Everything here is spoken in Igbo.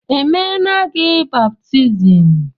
Emeela gị baptizim?